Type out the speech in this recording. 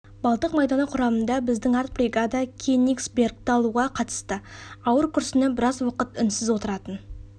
балтық майданы құрамында біздің арт бригада кенигсбергті алуға қатысты ауыр күрсініп біраз уақыт үнсіз отыратын